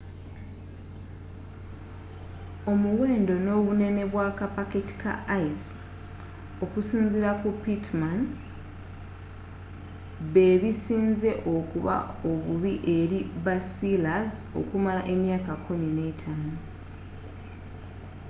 omuwendo n'obunene bwa kapaketi ka ice okusinziira ku pittman bebisinze okuba omubi eri basealers okumala emyaka 15